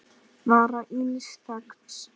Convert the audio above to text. vara ills þegns